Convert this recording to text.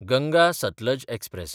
Ganga Sutlej express